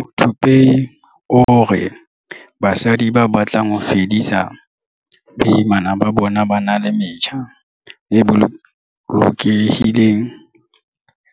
Muthupei o re basadi ba batlang ho fedisa boimana ba bona ba na le metjha e bolokehileng